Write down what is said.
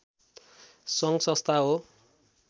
सङ्घ संस्था हो